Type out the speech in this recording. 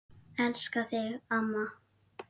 Elska þig, amma.